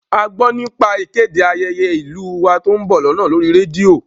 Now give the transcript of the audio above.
A gbọ́ nípa ìkéde ayẹyẹ ìlú u wa tó ń bọ̀ lọ́nà lórí rédíò